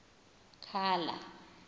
khala